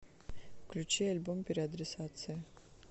включи альбом переадресация